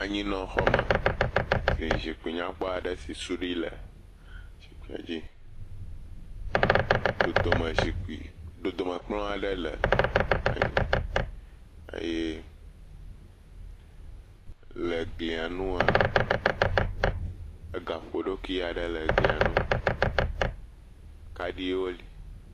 Anyinɔxɔme, si zikpui nyakpɔ aɖe si suɖui le, zikpuia dzi. Dodome kplɔ̃ aɖe le anyi eye le glia ŋu, gaƒoɖokui aɖe le glia ŋu. Kaɖiwo li.